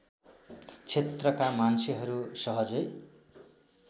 क्षेत्रका मान्छेहरू सहजै